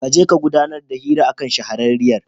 Ka je ka gudanar da hira a kan shahararriyar.